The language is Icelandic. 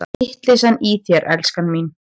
Vitleysan í þér, elskan mín!